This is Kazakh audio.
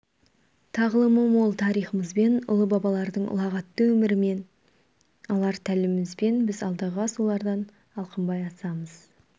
тағылымы мол тарихымызбен ұлы бабалардың ұлағатты өмірінен алар тәлімімізбен біз алдағы асулардан алқынбай асамыз